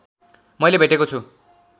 मैले भेटेको छु